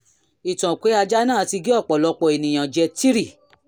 ìtàn pé ajá náà ti gé ọ̀pọ̀lọpọ̀ ènìyàn jẹ 3